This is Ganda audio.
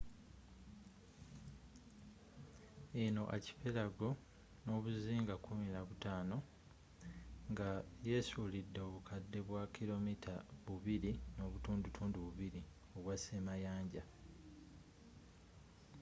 eno archipelago n'obuzinga 15 nga yeesuulidde obukadde bwa km 2.2 obwa ssemayanja